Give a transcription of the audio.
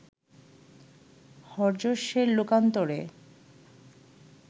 হর্যশ্বের লোকান্তরে